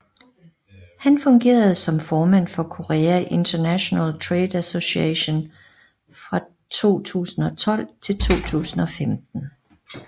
Han fungerede som formand for Korea International Trade Association fra 2012 til 2015